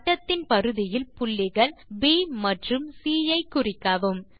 வட்டத்தின் பரிதியில் புள்ளிகள் ப் மற்றும் சி ஐ குறிக்கவும்